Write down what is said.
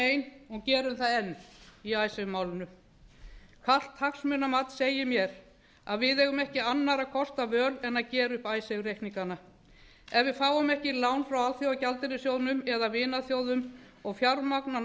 ein og gerum það enn í icesave málinu kalt hagsmunamat segir mér að við eigum ekki annarra kosta völ en að gera upp icesave reikningana ef við fáum ekki lán frá alþjóðagjaldeyrissjóðnum eða vinaþjóðum og fjármagn